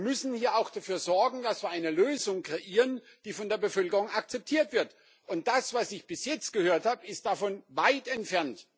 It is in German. Wir müssen hier auch dafür sorgen, dass wir eine Lösung kreieren, die von der Bevölkerung akzeptiert wird, und das, was ich bis jetzt gehört habe, ist davon weit entfernt.